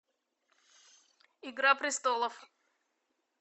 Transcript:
игра престолов